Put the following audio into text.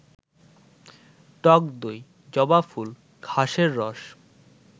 টক দই, জবাফুল, ঘাসের রস